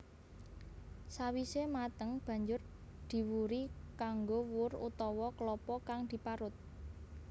Sawise mateng banjur diwuri kanggo wur utawa klapa kang diparut